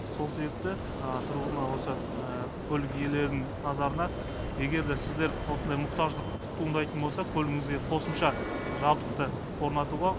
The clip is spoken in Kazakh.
сол себепті осы көлік иелерін назарына егер де сіздер осындай мұқтаждық туындайтын болса көлігіңізге қосымша жабдықты орнатуға